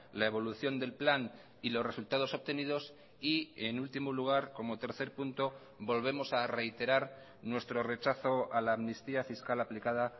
la evolución del plan y los resultados obtenidos y en último lugar como tercer punto volvemos a reiterar nuestro rechazo a la amnistía fiscal aplicada